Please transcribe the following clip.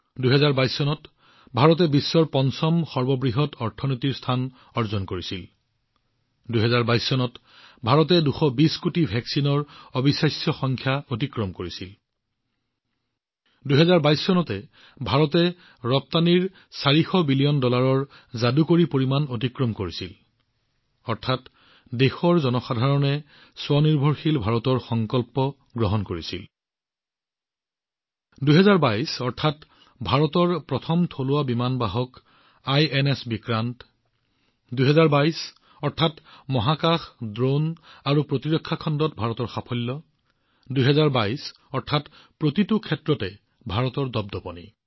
২০২২ বৰ্ষত ভাৰতে বিশ্বৰ পঞ্চম বৃহত্তম অৰ্থনীতিৰ মৰ্যাদা লাভ কৰিছে ২০২২ অৰ্থাৎ ২২০ কোটি ভেকছিনৰ অবিশ্বাস্য সংখ্যা অতিক্ৰম কৰাৰ ক্ষেত্ৰত ভাৰতৰ অভিলেখ ২০২২ অৰ্থাৎ ভাৰতে ৪০০ বিলিয়ন ডলাৰৰ যাদুকৰী ৰপ্তানিৰ পৰিমাণ অতিক্ৰম কৰিছে ২০২২ অৰ্থাৎ জনসাধাৰণৰ দ্বাৰা আত্মনিৰ্ভৰশীল ভাৰতৰ প্ৰস্তাৱ গ্ৰহণ কৰা হৈছে ইয়াক প্ৰতিপালন কৰা হৈছে ২০২২ অৰ্থাৎ ভাৰতৰ প্ৰথম থলুৱা বিমান বাহক আইএনএছ বিক্ৰান্তক স্বাগতম জনোৱা হৈছে ২০২২ অৰ্থাৎ মহাকাশ ড্ৰোন আৰু প্ৰতিৰক্ষা খণ্ডত ভাৰতৰ গৌৰৱ বৃদ্ধি হৈছে ২০২২ অৰ্থাৎ প্ৰতিটো ক্ষেত্ৰতে ভাৰতৰ শক্তি বৃদ্ধি পাইছে